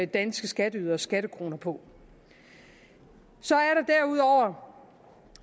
danske skatteyderes skattekroner på så